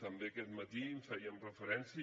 també aquest matí hi fèiem referència